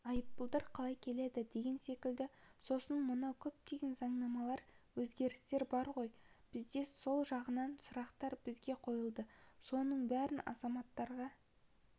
айыппұлдар қалай келеді деген секілді сосын мынау көптеген заңнамалар өзгерістер бар ғой бізде сол жағынан сұрақтар бізге қойылды соның бәрін азаматтарға